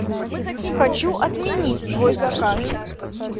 хочу отменить свой заказ